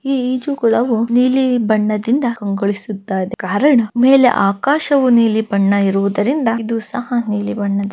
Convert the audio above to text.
ಈ ಇಜುಕೊಳವು ನೀಲಿ ಬಣ್ಣದಿಂದ ಕಂಗೊಳಿಸುತ್ತದೆ ಕಾರಣ ಮೇಲೆ ಆಕಾಶವು ನಿಲಿ ಬಣ್ಣ ಇರುವದರಿಂದ ಇದು ಸಹ್‌ ನಿಲಿ ಬಣ್ಣದಿಂದ --